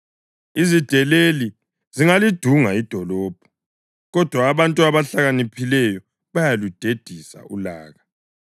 Izideleli zingalidunga idolobho, kodwa abantu abahlakaniphileyo bayaludedisa ulaka.